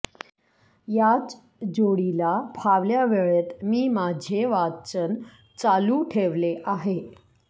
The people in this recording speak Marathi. याच जोडीला फावल्या वेळेत मी माझे वाचन चालू ठेवले आहे